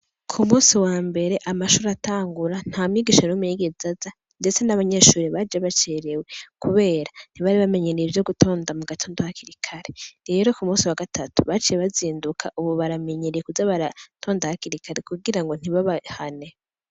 Ku munsi wambere amashure atangura, nta mwigisha n'umwe yigeza aza ndetse n'abanyeshure baje bacerewe kubera ntibari bamenyereye ivyo gutonda mu gitondo hakiri kare. Rero ku musi wagatatu baciye bazinduka ubu baramenyereye kuza baratonda hakiri kare kugira ngo ntibabahane.